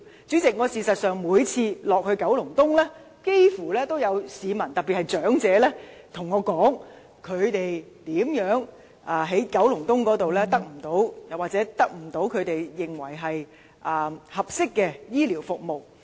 主席，事實上，我幾乎每次探訪九龍東時，也有市民告訴我，他們在九龍東得不到他們認為合適的醫療服務。